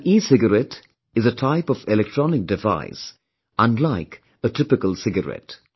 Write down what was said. An ecigarette is a type of electronic device unlike a typical cigarette